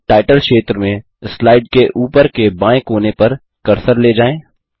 अब टाइटल क्षेत्र में स्लाइड के ऊपर के बाएँ कोने पर कर्सर ले जाएँ